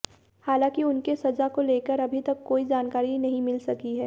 हालांकि उनके सजा को लेकर अभी तक कोई जानकारी नहीं मिल सकी है